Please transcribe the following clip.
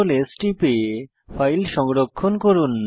CtrlS টিপে file সংরক্ষণ করুন